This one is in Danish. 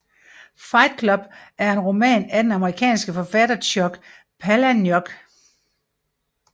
Fight Club er en roman af den amerikanske forfatter Chuck Palahniuk